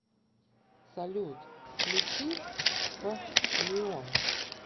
салют включи п лион